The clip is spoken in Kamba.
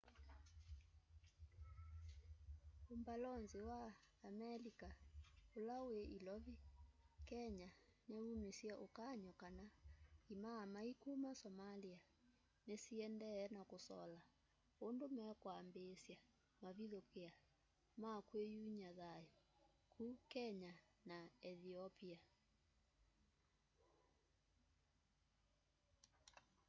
umbalonzi wa amelika ula wi ilovi kenya niumisye ukany'o kana imaamai kuma somalia ni siendee na kusola undu mekwambiisya mavithukia ma kwiyumya thayu ku kenya na ethiopia